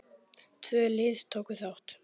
Tvö lið tóku þátt.